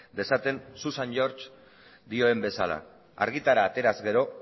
dezaten susan george dioen bezala argitara ateraz gero